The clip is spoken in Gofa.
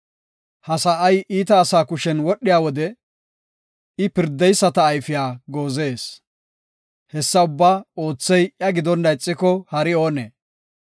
Ha sa7ay iita asaa kushen wodhiya wode, I pirdeyisata ayfiya goozees. Hessa ubbaa oothey iya gidonna ixiko, hari oonee?